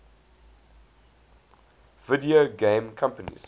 video game companies